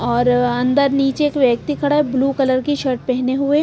और अंदर नीचे एक व्यक्ति खड़ा है ब्लू कलर की शर्ट पहने हुए।